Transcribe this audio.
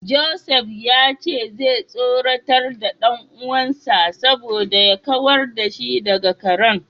Joseph ya ce zai tsoratar da dan uwansa saboda ya kawar da shi daga karen.